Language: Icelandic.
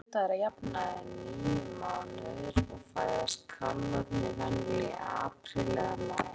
Meðgöngutími sauðnauta er að jafnaði níu mánuðir og fæðast kálfarnir venjulega í apríl eða maí.